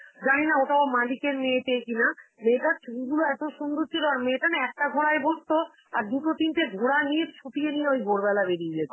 জানিনা ওটা ও মালিকের মেয়ে টেয়ে কিনা, মেয়েটার চুলগুলো এত সুন্দর ছিল, আর মেয়েটা না একটা ঘোড়ায় বসতো আর দুটো তিনটে ঘোড়া নিয়ে ছুটিয়ে নিয়ে ওই ভোরবেলা বেরিয়ে যেত.